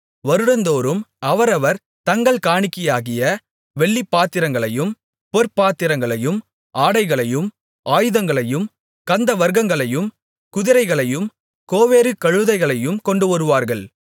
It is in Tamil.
வருடந்தோறும் அவரவர் தங்கள் காணிக்கையாகிய வெள்ளிப்பாத்திரங்களையும் பொற்பாத்திரங்களையும் ஆடைகளையும் ஆயுதங்களையும் கந்தவர்க்கங்களையும் குதிரைகளையும் கோவேறு கழுதைகளையும் கொண்டுவருவார்கள்